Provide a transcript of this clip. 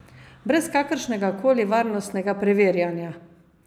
Brez kakršnega koli varnostnega preverjanja.